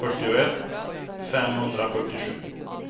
fyrtioett femhundrafyrtiosju